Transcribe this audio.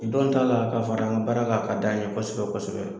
Don ta la ka fara an ka baara kan , a ka d'an ye kosɛbɛ kosɛbɛ.